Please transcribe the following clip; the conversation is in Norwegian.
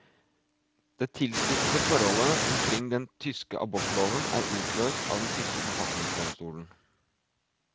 Det tilspissede forholdet omkring den tyske abortloven er utløst av den tyske forfatningsdomstolen.